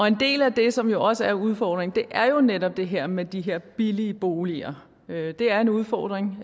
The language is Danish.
en del af det som jo også er udfordringen er jo netop det her med de her billige boliger det er en udfordring